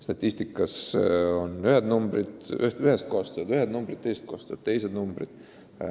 Statistikas on ühed arvud, ühest kohast tulevad ühed arvud, teisest kohast tulevad teised arvud.